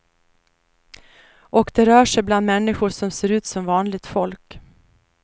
Och de rör sig bland människor som ser ut som vanligt folk.